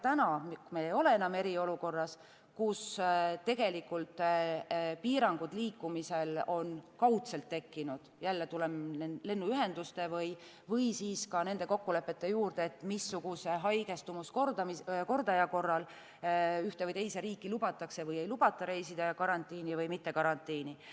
Täna, kui me ei ole enam eriolukorras, me teame, kus piirangud liikumisel on kaudselt tekkinud – jälle tulen lennuühenduste või ka nende kokkulepete juurde, missuguse haigestumuskordaja korral ühte või teise riiki lubatakse või ei lubata reisida, ja kas karantiini on vaja jääda või mitte.